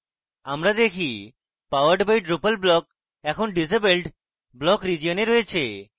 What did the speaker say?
আমরা দেখি powered by drupal block এখন disabled block region we রয়েছে